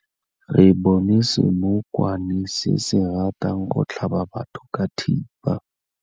Re bone senokwane se se ratang go tlhaba batho ka thipa.